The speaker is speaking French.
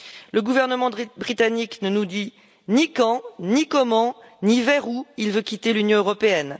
Le gouvernement britannique ne nous dit ni quand, ni comment, ni vers où il veut quitter l'Union européenne.